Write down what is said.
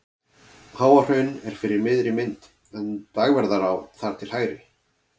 Háahraun er fyrir miðri mynd en Dagverðará þar til hægri.